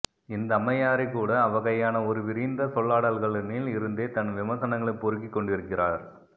இந்த அம்மையாரே கூட அவ்வகையான ஒரு விரிந்த சொல்லாடல்களனில் இருந்தே தன் விமர்சனங்களை பொறுக்கிக் கொண்டிருக்கிறார்